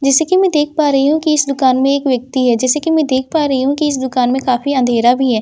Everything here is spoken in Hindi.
जैसे कि मैं देख पा रही हूं कि इस दुकान में एक व्यक्ति है जैसे कि मैं देख पा रही हूं कि इस दुकान में काफी अंधेरा भी है।